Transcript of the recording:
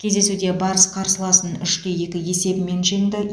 кездесуде барыс қарсыласын үш те екі есебімен жеңді